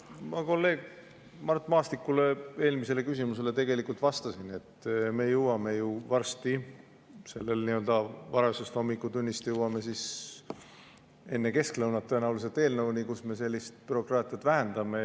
Ma kolleeg Mart Maastiku eelmisele küsimusele tegelikult vastasin, et me jõuame varsti sellest varajasest hommikutunnist edasi, tõenäoliselt enne lõunat eelnõuni, millega me sellist bürokraatiat vähendame.